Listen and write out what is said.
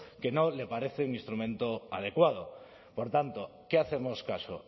que no le parece un instrumento adecuado por tanto qué hacemos caso